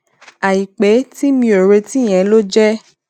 àìpé tí mi ò retí yẹn ló jé